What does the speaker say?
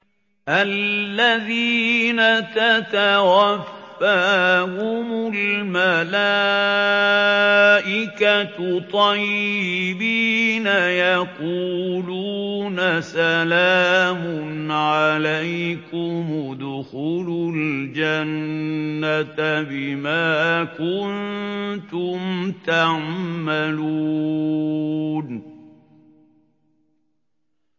الَّذِينَ تَتَوَفَّاهُمُ الْمَلَائِكَةُ طَيِّبِينَ ۙ يَقُولُونَ سَلَامٌ عَلَيْكُمُ ادْخُلُوا الْجَنَّةَ بِمَا كُنتُمْ تَعْمَلُونَ